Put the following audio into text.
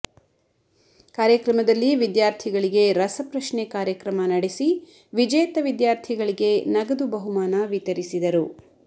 ಕಾರ್ಯಕ್ರಮದಲ್ಲಿ ವಿದ್ಯಾರ್ಥಿಗಳಿಗೆ ರಸ ಪ್ರಶ್ನೆ ಕಾರ್ಯಕ್ರಮ ನಡೆಸಿ ವಿಜೇತ ವಿದ್ಯಾರ್ಥಿಗಳಿಗೆ ನಗದು ಬಹುಮಾನ ವಿತರಿಸಿದರು